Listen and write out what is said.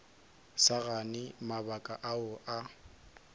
sa gane mabaka ao a